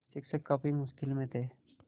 शिक्षक काफ़ी मुश्किल में थे